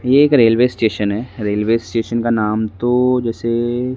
ये एक railway station है रेलवे स्टेशन का नाम तो जैसे--